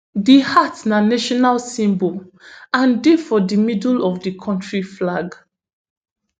di hat na national symbol and dey for di middle of di country flag